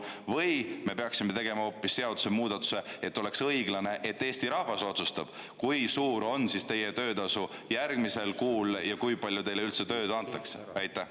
Või me peaksime tegema hoopis seadusemuudatuse nii, et oleks õiglane, et Eesti rahvas otsustab, kui suur on teie töötasu järgmisel kuul ja kui palju teile üldse tööd antakse?